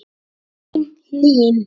Þín, Hlín.